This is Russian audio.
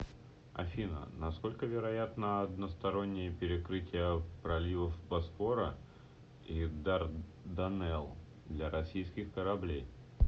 афина насколько вероятно одностороннее перекрытие проливов босфора и дарданелл для российских кораблей